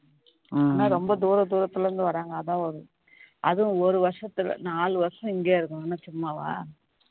உம் ரொம்ப தூர தூரத்திலிருந்து வராங்க அதான் அதுவும் ஒரு வருஷத்துல நாலு வருஷம் இங்கயே இருக்கணும்னா சும்மாவா